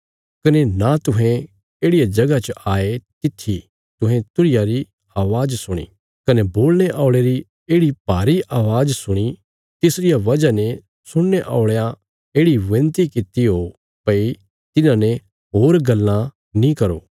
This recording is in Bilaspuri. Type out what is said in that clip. कने नां तुहें येढ़िया जगह च आये तित्थी तुहें तुरहिया री अवाज़ सुणी कने बोलणे औल़े री येढ़ि भारी अवाज़ सुणी तिसरिया वजह ने सुणने औल़यां येढ़ि विनती कित्ती ओ भई तिन्हांने होर गल्लां नीं करो